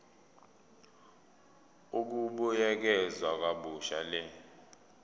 ukubuyekeza kabusha le